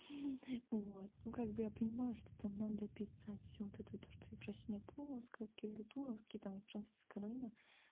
вот ну как бы я понимаю что там надо писать всё вот это то что ефросинья полоцкая кирилл туровский там и франциск скорина